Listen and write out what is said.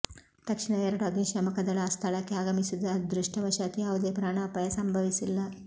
ತಕ್ಷಣ ಎರಡು ಅಗ್ನಿಶಾಮಕ ದಳ ಸ್ಥಳಕ್ಕೆ ಆಗಮಿಸಿದ್ದು ಅದೃಷ್ಟವಶಾತ್ ಯಾವುದೇ ಪ್ರಾಣಪಾಯ ಸಂಭವಿಸಿಲ್ಲ